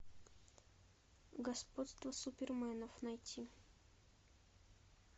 господство суперменов найти